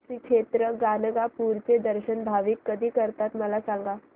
श्री क्षेत्र गाणगापूर चे दर्शन भाविक कधी करतात मला सांग